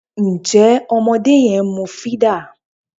Ǹjẹ́ ọmọdé yẹn ń mú fídà?